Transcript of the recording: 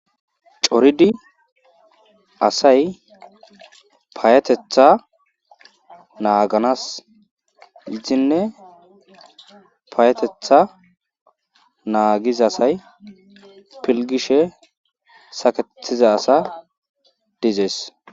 Coridi asay payateththa naaganas gidine payatetha naagiza asay filgishe saketiza asa dizees.